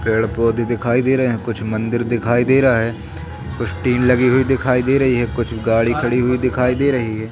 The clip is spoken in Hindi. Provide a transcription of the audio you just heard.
पेड़ पौधे दिखाई दे रहे है कुछ मंदिर दिखाई दे रहा है कुछ टीन लगी हुई दिखाई दे रही है कुछ गाड़ी खड़ी हुई दिखाई दे रही है।